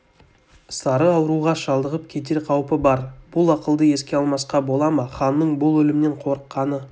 сары ауруға шалдығып кетер қаупі бар бұл ақылды еске алмасқа бола ма ханның бұл өлімнен қорыққаны